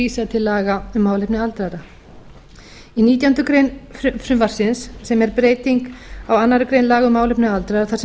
til laga um málefni aldraðra í nítjánda grein frumvarpsins sem er breyting á annarri grein laga um málefni aldraðra þar sem